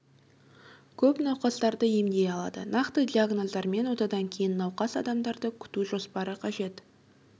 көп науқастарды емдей алады нақты диагноздар мен отадан кейін науқас адамдарды күту жоспары қажет